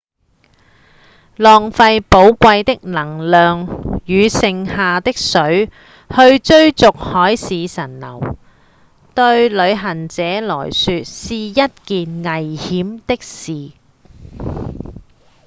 浪費寶貴的能量與剩下的水去追逐海市蜃樓對旅行者來說是一件很危險的事